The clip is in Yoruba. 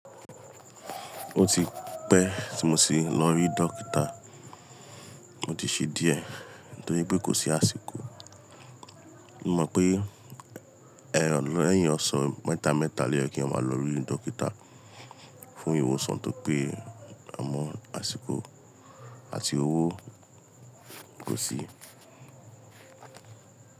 Ó ti pẹ́ tí mo ṣe lọ rí dókítà, o ti ṣe díẹ̀ nítorí pé kò sí àsìkò. Mo mọ̀ pé ehm, lẹ́yìn ọ̀sẹ̀ mẹ́ta mẹ́ta lẹ́yìn kí n máa lọ rí dókítà fún ìwòsàn tó pé amọ̀ àsìkò àti owó kò sí.